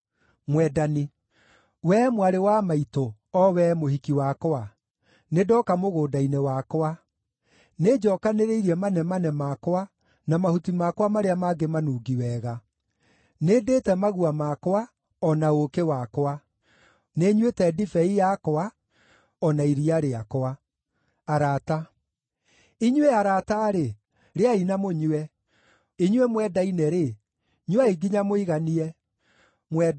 Wee mwarĩ wa maitũ o wee mũhiki wakwa, nĩndoka mũgũnda-inĩ wakwa; nĩnjookanĩrĩirie manemane makwa na mahuti makwa marĩa mangĩ manungi wega. Nĩndĩĩte magua makwa, o na ũũkĩ wakwa; nĩnyuĩte ndibei yakwa, o na iria rĩakwa. Arata Inyuĩ arata-rĩ, rĩai na mũnyue; inyuĩ mwendaine-rĩ, nyuai nginya mũiganie.